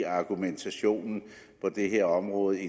argumentationen på det her område